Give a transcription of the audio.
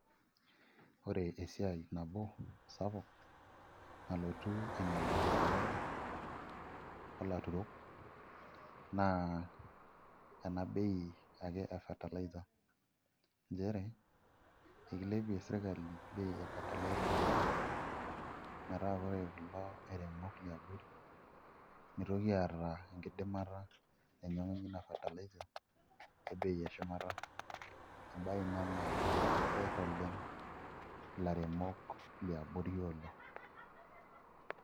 Ore esiai nabo sapuk, nalotu ainyalaki sirkali olaturok naa enabei ake e fertiliser. Njere, ekilepie sirkali bei e fertiliser oleng, metaa ore kulo airemok liabori, mitoki aata enkidimata nainyang'unye ina fertiliser, ebei eshumata. Ebaiki naa keer oleng ilaremok liabori oleng.